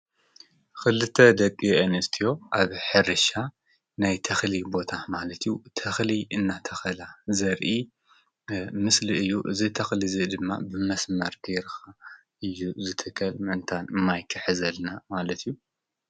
ክልተ ደቂ-ኣነስትዮ ኣብ ሕርሻ ናይ ተክሊ ቦታ ማለት እዩ ተክሊ እንዳተከላ ዘርኢ ምስሊ እዩ። እዚ ተክሊ እዚ ድማ ብመስመር ገይርካ እዩ ዝትከል ምእንታን ማይ ክሕዘልና ማለት እዩ።